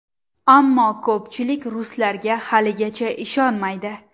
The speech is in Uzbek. Ammo ko‘pchilik ruslarga haligacha ishonmaydi.